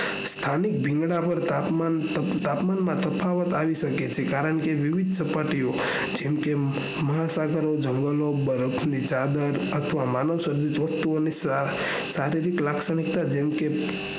કારણ રીંગણાં ભાર તાપમાન માં તફાવત આવી શકે છે કારણ કે વિવિધ સપાટીઓ જેમકે મહાસાગરો જળાશયો બરફ ની ચાદરો માનવસર્જિત વસ્તુની શારીરિક લાક્ષણિકતા